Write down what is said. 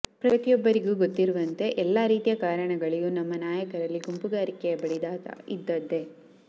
ಪ್ರತಿಯೊಬ್ಬರಿಗೂ ಗೊತ್ತಿರುವಂತೆ ಎಲ್ಲ ರೀತಿಯ ಕಾರಣಗಳಿಗೂ ನಮ್ಮ ನಾಯಕರಲ್ಲಿ ಗುಂಪುಗಾರಿಕೆಯ ಬಡಿದಾಟ ಇದ್ದದ್ದೇ